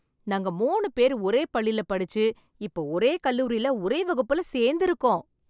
நாங்க மூணு பேர் ஒரே பள்ளில படிச்சு இப்ப ஒரே கல்லூரில ஒரே வகுப்புல சேர்ந்து இருக்கோம்.